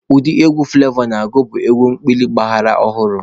Ụdị egwu Fụlevọ na-agụ bụ egwu ekpili ọgbara ọhụrụ.